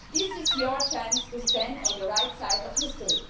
so. This is your chance to stand on the right side of history.